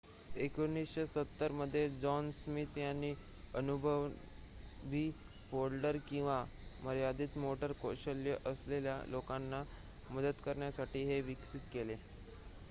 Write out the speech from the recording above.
१९७० मध्ये John Smith यांनी अननुभवी फोल्डर किंवा मर्यादित मोटर कौशल्ये असलेल्या लोकांना मदत करण्यासाठी हे विकसित केले